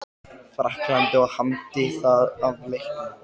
Frakklandi og hamdi það af leikni.